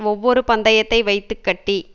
ஒவ்வொரு பந்தயத்தை வைத்து கட்டி